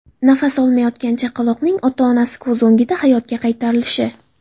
Nafas olmayotgan chaqaloqning ota-onasi ko‘z o‘ngida hayotga qaytarilishi.